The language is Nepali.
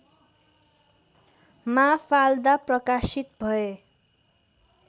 माफाल्दा प्रकाशित भए